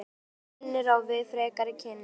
Hún vinnur á við frekari kynni.